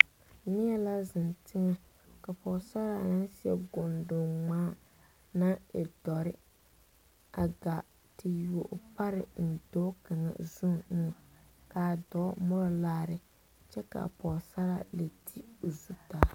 Neɛ la zeng tenga ka pɔgsarre nang seɛ gontun ngmaa nang e dɔri a gaa te yuo ɔ pare en doɔ kanga zu engan kaa doɔ muri laare kye ka a pɔgsaraa le te ɔ zu.